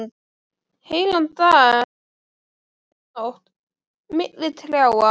Heilan dag, heila nótt, milli trjáa.